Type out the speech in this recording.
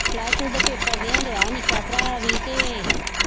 Plus-two ਦੇ paper ਦੇਣਡਿਆ ਨਿੱਕਾ ਭਰਾ ਵੀ ਤੇ